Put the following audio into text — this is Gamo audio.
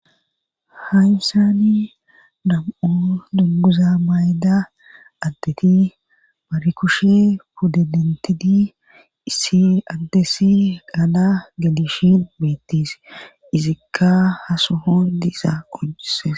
hayisani nam'u dunguza mayda addeti mari kushe pudde dentidi issi adesi gala gedishin beettis izikka ha sohon diizaa qonccises